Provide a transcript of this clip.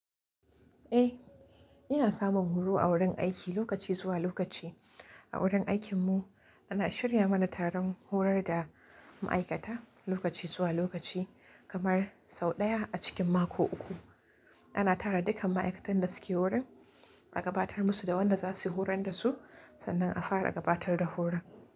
Eh, ina samun horo a wurin aiki lokaci zuwa lokaci. A wurin aikinmu ana shirya mana taron horar da ma'aikata lokaci zuwa lokaci kamar sau ɗaya a cikin mako uku. Ana tara dukkan ma'aikatan da suke wurin, a gabatar musu da wanda za su horon da su, sannan a fara gabatar da horon.